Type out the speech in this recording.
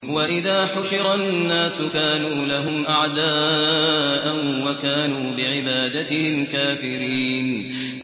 وَإِذَا حُشِرَ النَّاسُ كَانُوا لَهُمْ أَعْدَاءً وَكَانُوا بِعِبَادَتِهِمْ كَافِرِينَ